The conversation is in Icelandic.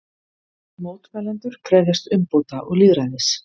Mótmælendur krefjast umbóta og lýðræðis